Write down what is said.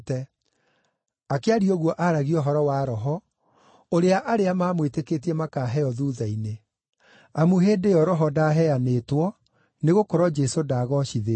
Akĩaria ũguo aaragia ũhoro wa Roho, ũrĩa arĩa maamwĩtĩkĩtie makaheo thuutha-inĩ. Amu hĩndĩ ĩyo Roho ndaaheanĩtwo, nĩgũkorwo Jesũ ndaagoocithĩtio.